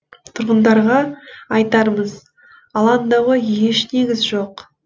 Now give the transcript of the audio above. тұрғындарға айтарымыз алаңдауға еш негіз жоқ